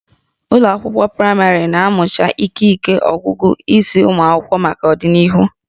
Ụlọ akwụkwọ praịmarị na-amụcha ikike ọgụgụ isi ụmụ akwụkwọ maka ọdịnihu